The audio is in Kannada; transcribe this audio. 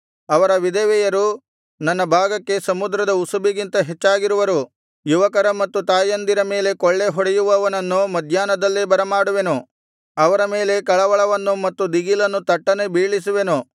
ಅವರ ವಿಧವೆಯರು ನನ್ನ ಭಾಗಕ್ಕೆ ಸಮುದ್ರದ ಉಸುಬಿಗಿಂತ ಹೆಚ್ಚಾಗಿರುವರು ಯುವಕರ ಮತ್ತು ತಾಯಂದಿರ ಮೇಲೆ ಕೊಳ್ಳೆ ಹೊಡೆಯುವವನನ್ನು ಮಧ್ಯಾಹ್ನದಲ್ಲೇ ಬರಮಾಡುವೆನು ಅವರ ಮೇಲೆ ಕಳವಳವನ್ನು ಮತ್ತು ದಿಗಿಲನ್ನು ತಟ್ಟನೆ ಬೀಳಿಸುವೆನು